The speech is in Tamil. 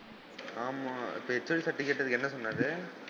ஆமா இப்ப HOD sir ட்ட கேட்டதுக்கு என்ன சொன்னாரு?